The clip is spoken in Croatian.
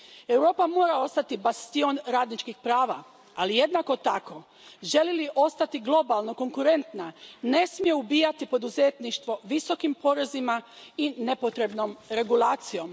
Europa mora ostati bastion radničkih prava, ali jednako tako, želi li ostati globalno konkurentna, ne smije ubijati poduzetništvo visokim porezima i nepotrebnom regulacijom.